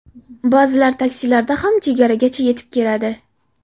Ba’zilar taksilarda ham chegaragacha yetib keladi.